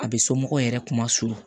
A bɛ somɔgɔw yɛrɛ kuma surun